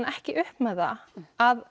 ekki upp með það að